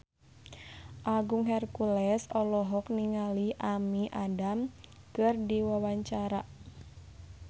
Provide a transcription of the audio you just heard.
Agung Hercules olohok ningali Amy Adams keur diwawancara